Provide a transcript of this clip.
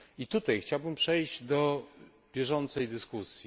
Tutaj chciałbym przejść do bieżącej dyskusji.